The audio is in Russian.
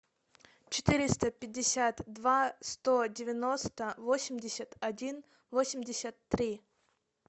четыреста пятьдесят два сто девяносто восемьдесят один восемьдесят три